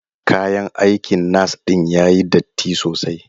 Kayan aikin nas din yayi datti sosai.